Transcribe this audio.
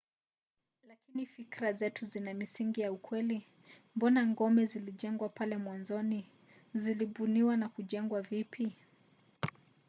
lakini fikira zetu zina misingi ya ukweli? mbona ngome zilijengwa pale mwanzoni? zilibuniwa na kujengwa vipi?